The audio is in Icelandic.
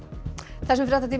þessum fréttatíma